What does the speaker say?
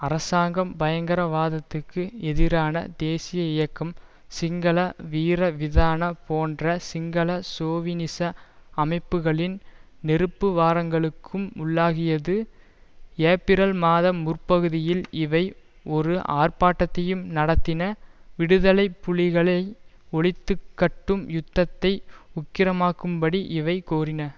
அரசாங்கம் பயங்கரவாதத்துக்கு எதிரான தேசிய இயக்கம் சிங்கள வீரவிதான போன்ற சிங்கள சோவினிச அமைப்புக்களின் நெருக்குவாரங்களுக்கும் உள்ளாகியது ஏப்பிரல் மாத முற்பகுதியில் இவை ஒரு ஆர்ப்பாட்டத்தையும் நடத்தின விடுதலை புலிகளை ஒழித்து கட்டும் யுத்தத்தை உக்கிரமாக்கும்படி இவை கோரின